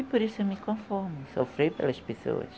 E por isso eu me conformo, em sofrer pelas pessoas.